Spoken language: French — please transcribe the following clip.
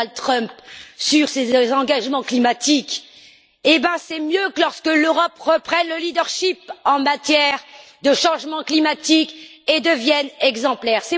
Donald Trump sur ses engagements climatiques, mais c'est mieux que l'Europe reprenne le leadership en matière de changement climatique et devienne exemplaire.